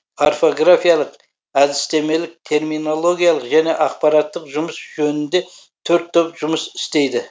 орфографиялық әдістемелік терминологиялық және ақпараттық жұмыс жөнінде төрт топ жұмыс істейді